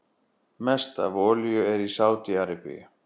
Mest af olíu er í Sádi-Arabíu.